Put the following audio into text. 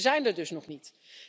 We zijn er dus nog niet.